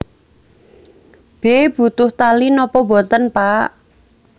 B Butuh tali napa boten Pak